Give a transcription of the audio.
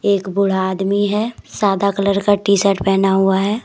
एक बूढ़ा आदमी है सादा कलर का टी शर्ट पहना हुआ है।